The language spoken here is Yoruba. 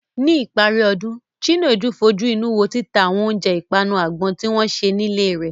Ní ìparí ọdún, Chinedu fojú inú wo títa àwọn oúnjẹ ìpanu àgbọn tí wọ́n ṣe nílé rẹ̀.